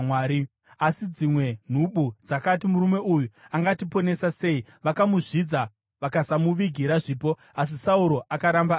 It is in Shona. Asi dzimwe nhubu dzakati, “Murume uyu angatiponesa sei?” Vakamuzvidza vakasamuvigira zvipo. Asi Sauro akaramba anyerere.